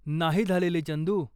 नाही झालेली, चंदू.